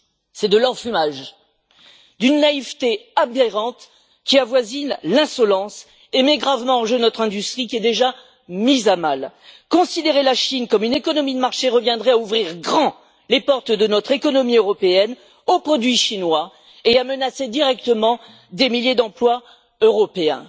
C'est de l'enfumage, d'une naïveté aberrante qui avoisine l'insolence et met gravement en jeu notre industrie qui est déjà mise à mal. Considérer la Chine comme une économie de marché reviendrait à ouvrir grand les portes de notre économie européenne aux produits chinois et à menacer directement des milliers d'emplois européens.